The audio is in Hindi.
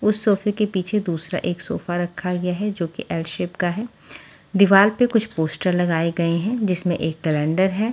उस सोफे के पीछे दूसरा एक सोफा रखा गया है जो की एल शेप की है दिवार पे कुछ पोस्टर लगाए गए हैं।